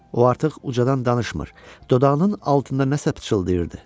O artıq ucadan danışmır, dodağının altında nəsə pıçıldayırdı.